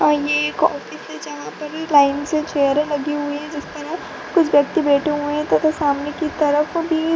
जहाँ पर लाइन से चेयरे लगी हुयी है जिसपर कुछ व्यक्ति बैठे हुए है तथा सामने के तरफ भी --